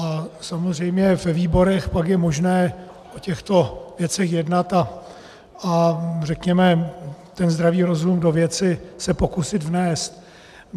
A samozřejmě ve výborech pak je možné o těchto věcech jednat a řekněme ten zdravý rozum do věci se pokusit vnést.